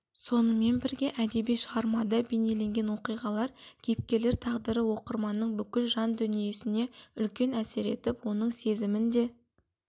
сонымен бірге әдеби шығармада бейнеленген оқиғалар кейіпкерлер тағдыры оқырманның бүкіл жан дүниесіне үлкен әсер етіп оның сезімін де